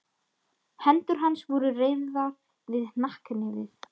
Hendur hans voru reyrðar við hnakknefið.